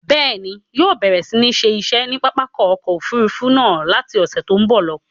Bẹ́ẹ̀ni, ń yóò bẹ̀rẹ̀ si ni ṣe iṣẹ́ ni pápákọ̀ ọkọ Òfurufú náà láti ọ̀sẹ̀ tòun bọ̀ lọ.